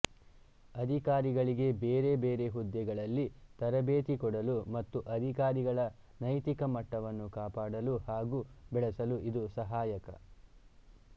ಅಧಿಕಾರಿಗಳಿಗೆ ಬೇರೆ ಬೇರೆ ಹುದ್ದೆಗಳಲ್ಲಿ ತರಬೇತು ಕೊಡಲು ಮತ್ತು ಅಧಿಕಾರಿಗಳ ನೈತಿಕಮಟ್ಟವನ್ನು ಕಾಪಾಡಲು ಹಾಗೂ ಬೆಳೆಸಲು ಇದು ಸಹಾಯಕ